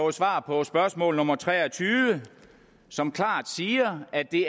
et svar på spørgsmål nummer tre og tyve som klart siger at det